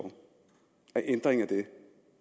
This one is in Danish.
og en ændring af det